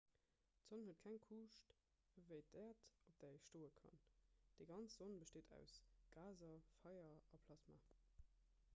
d'sonn huet keng kuuscht ewéi d'äerd op där ee stoe kann déi ganz sonn besteet aus gaser feier a plasma